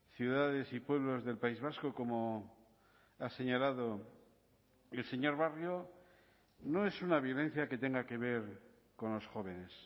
ciudades y pueblos del país vasco como ha señalado el señor barrio no es una violencia que tenga que ver con los jóvenes